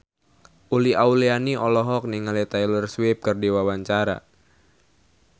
Uli Auliani olohok ningali Taylor Swift keur diwawancara